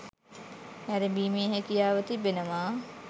නැරඹීමේ හැකියාව තිබෙනවා